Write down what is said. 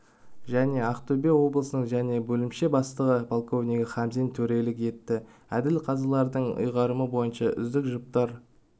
және ақтөбе облысының және бөлімше бастығы подполковнигі хамзин төрелік етті әділ-қазылардың ұйғарымы бойынша үздік жұптар